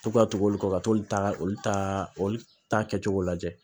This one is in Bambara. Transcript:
To ka tugu olu kɔ ka t'olu ta olu ta olu ta kɛcogo lajɛ